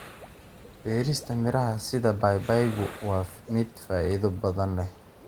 Beerista miraha sida babaygu waa mid faa'iido badan leh.